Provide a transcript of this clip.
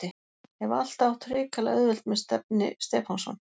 Hef alltaf átt hrikalega auðvelt með Stefni Stefánsson.